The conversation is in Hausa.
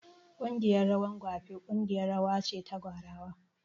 Ƙungiyar rawan gwape ƙungiyar rawa ce ta gwarawa